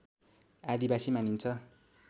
आदिवासी मानिन्छ